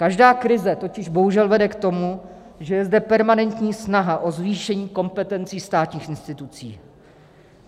Každá krize totiž bohužel vede k tomu, že je zde permanentní snaha o zvýšení kompetencí státních institucí.